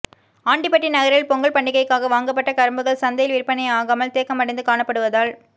ஆண்டிபட்டி நகரில் பொங்கல் பண்டிகைக்காக வாங்கப்பட்ட கரும்புகள் சந்தையில் விற்பனையாகாமல் தேக்கமடைந்து காணப்படுவதால்